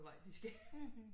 Vej de skal